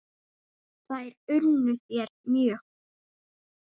Þær unnu þér mjög.